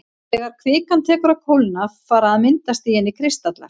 Þegar kvikan tekur að kólna fara að myndast í henni kristallar.